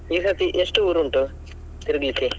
ಈಸರ್ತಿ ಎಷ್ಟು ಊರು ಉಂಟು, ತಿರಿಗ್ಲಿಕ್ಕೆ.